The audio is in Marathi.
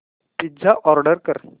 पिझ्झा ऑर्डर कर